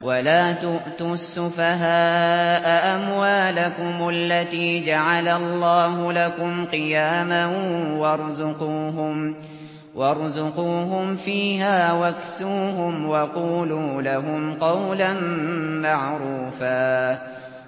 وَلَا تُؤْتُوا السُّفَهَاءَ أَمْوَالَكُمُ الَّتِي جَعَلَ اللَّهُ لَكُمْ قِيَامًا وَارْزُقُوهُمْ فِيهَا وَاكْسُوهُمْ وَقُولُوا لَهُمْ قَوْلًا مَّعْرُوفًا